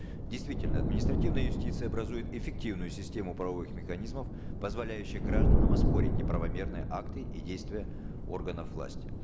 действительно административная юстиция образует эффективную систему правовых механизмов позволяющую гражданам оспорить неправомерные акты и действия органов власти